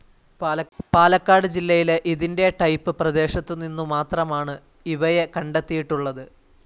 പാലക്കാട് ജില്ലയിലെ ഇതിന്റെ ടൈപ്പ്‌ പ്രദേശത്തുനിന്നു മാത്രമാണ് ഇവയെ കണ്ടെത്തിയിട്ടുള്ളത്.